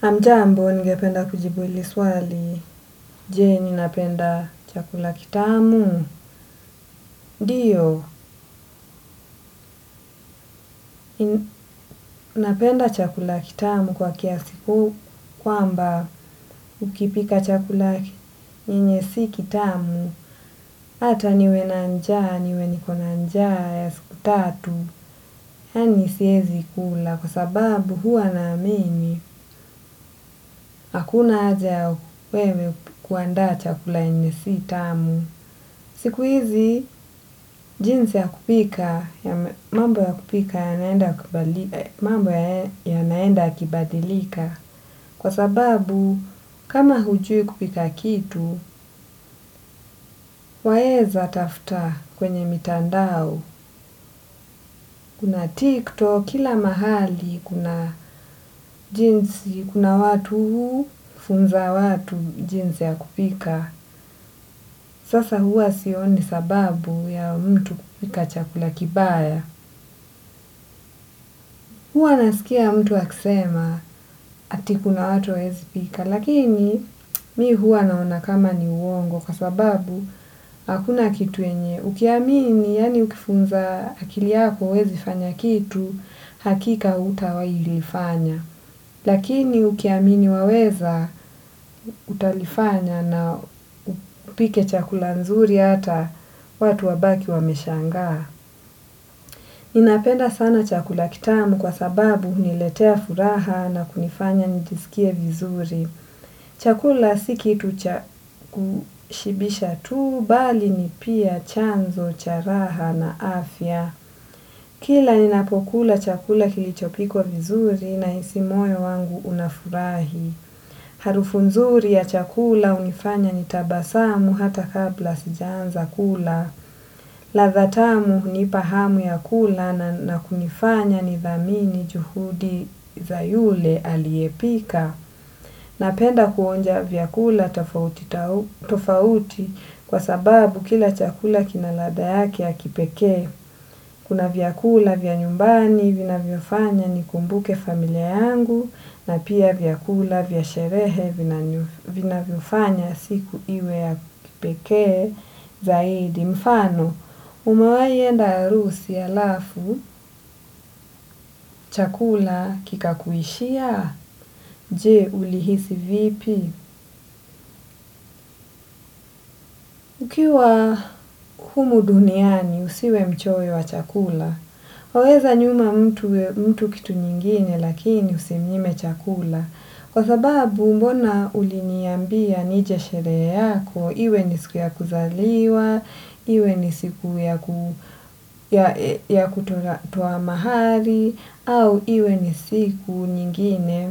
Hamjambo, ningependa kujibu hili swali, je, ninapenda chakula kitamu? Ndiyo, napenda chakula kitamu kwa kiasi huu kwamba ukipika chakula yenye si kitamu. Hata niwe na njaa, niwe niko na njaa ya siku tatu. Yaani siezi kula kwa sababu huwa naamini, hakuna haja ya wewe kuandaa chakula yenye si tamu. Siku hizi, jinsi ya kupika ya mambo ya kupika yanaenda yakibadilika. Kwa sababu, kama hujui kupika kitu, waeza tafuta kwenye mitandao. Kuna TikTok, kila mahali, kuna watu hufunza watu jinsi ya kupika. Sasa huwa sioni sababu ya mtu kupika chakula kibaya. Huwa nasikia mtu akisema, ati kuna watu hawaezi pika, lakini mi huwa naona kama ni uongo kwa sababu hakuna kitu yenye ukiamini, yaani ukifunza akili yako huwezi fanya kitu, hakika hutawahi lifanya. Lakini ukiamini waweza utalifanya na upike chakula nzuri hata watu wabaki wameshangaa. Ninapenda sana chakula kitamu kwa sababu huniletea furaha na kunifanya nijisikie vizuri. Chakula si kitu cha kushibisha tu bali ni pia chanzo cha raha na afya. Kila ninapokula chakula kilichopikwa vizuri nahisi moyo wangu unafurahi. Harufu nzuri ya chakula hunifanya nitabasamu hata kabla sijaanza kula. Ladha tamu hunipa hamu ya kula na kunifanya nidhamini juhudi za yule aliyepika. Napenda kuonja vyakula tofauti tofauti kwa sababu kila chakula kina ladha yake ya kipekee. Kuna vyakula vya nyumbani, vinavyofanya nikumbuke familia yangu, na pia vyakula vya sherehe, vinavyofanya siku iwe ya kipekee zaidi. Mfano, umewahi enda harusi halafu, chakula kikakuishia, je ulihisi vipi. Ukiwa humu duniani usiwe mchoyo wa chakula, waweza nyima mtu kitu nyingine lakini usimnyime chakula. Kwa sababu mbona uliniambia nije sherehe yako, iwe ni siku ya kuzaliwa, iwe ni siku ya kutoa mahari, au iwe ni siku nyingine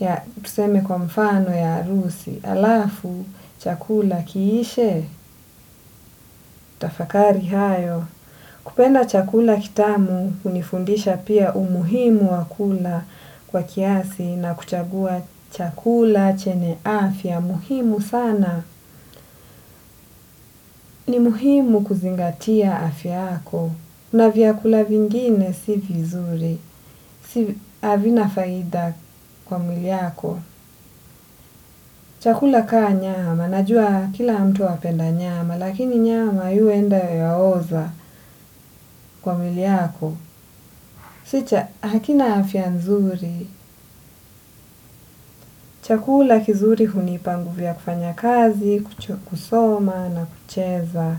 ya tuseme kwa mfano ya harusi alafu chakula kiishe, tafakari hayo. Kupenda chakula kitamu hunifundisha pia umuhimu wa kula kwa kiasi na kuchagua chakula chenye afya muhimu sana. Ni muhimu kuzingatia afya yako. Na vyakula vingine si vizuri, havina faida kwa mwili yako. Chakula kaa nyama. Najua kila mtu apenda nyama. Lakini nyama yu enda yaoza kwa mwiliyako kicha hakina afia nzuri chakula kizuri hunipa nguvu ya kufanya kazi, kucho kusoma na kucheza.